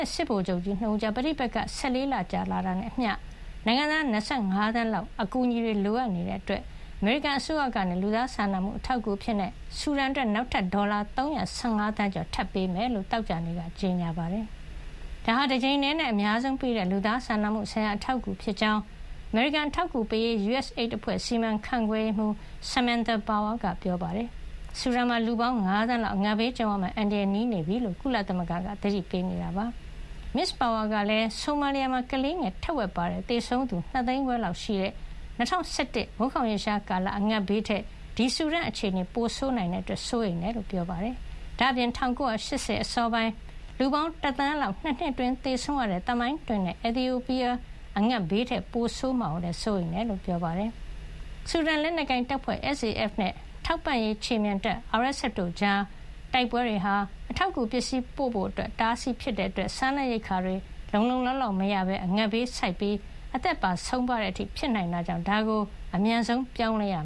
က် စစ်ဗိုလ်ချုပ်ကြီး ၂ ဦးကြား ပဋိပက္ခတွေ ၁၄ လ ကြာလာတာနဲ့အမျှ နိုင်ငံသား ၂၅ သန်းလောက် ဟာလည်း အကူညီတွေ လိုအပ်နေတာကြောင့် အမေရိကန်အစိုးရက လူသားစာနာမှု အထောက်အကူအဖြစ် ဆူဒန်အတွက် ဒေါ်လာ ၃၁၅ သန်းကျော် ထပ်မံပေးအပ်မှာဖြစ်ကြောင်း သောကြာနေ့က ကြေညာပါတယ်။ ဒါဟာ တကြိမ်တည်းနဲ့ အများဆုံးပေးတဲ့ လူသားစာနာမှုဆိုင်ရာ အထောက်အကူဖြစ်ကြောင်း အမေရိကန် အထောက်အကူပေးရေး USAID အဖွဲ့ စီမံခန့်ခွဲရေးမှူး Samantha Power 'ဆမန်သာ−ပါဝါ'က ပြောပါတယ်။ ဆူဒန်မှာ လူပေါင်း ၅ သန်းလောက် အငတ်ဘေးကြုံရမယ့် အန္တရာယ် နီးနေပြီလို့ ကုလသမဂ္ဂက သတိပေးနေတာပါ။ မစ္စ 'ပါဝါ' ကလည်း ဆိုမာလီယာမှာ ကလေးငယ် ထက်ဝက်ပါတဲ့ သေဆုံးသူ ၂ သိန်းခွဲလောက်ရှိတဲ့ ၂၀၁၁ ခုနှစ် မိုးခေါင်ရေရှားကာလ အငတ်ဘေးထက် ဆူဒန်အခြေအနေက ပိုဆိုးနိုင်တာကြောင့် စိုးရိမ်ရကြောင်း ပြောပါတယ်။ ဒါ့အပြင် ၁၉၈၀ အစောပိုင်းက လူပေါင်း ၁ သန်းလောက် ၂ နှစ်အတွင်း သေဆုံးခဲ့ရတဲ့ သမိုင်းတွင်တဲ့ Ethiopia အီသီယိုးပီးယား အငတ်ဘေးထက် ပိုဆိုးမှာကိုလည်း စိုးရိမ်ရတယ်လို့ ပြောပါတယ်။ ဆူဒန်လက်နက်ကိုင်တပ်ဖွဲ့ SAF နဲ့ ထောက်ပံ့ရေး ခြေမြန်တပ် RSF တို့ကြား တိုက်ပွဲတွေဟာ အထောက်အကူ ပစ္စည်းပို့ဆောင်ဖို့ အတားအဆီးတွေ ဖြစ်နေတာကြောင့် စားနပ်ရိက္ခာ လုံလုံလောက်လောက် မရကြပဲ အငတ်ဘေးဆိုက်ပြီး အသက်တွေပါ ဆုံးပါးနိုင်တဲ့အတွက် ဒါကို အမြန်ဆုံးပြောင်းလဲအောင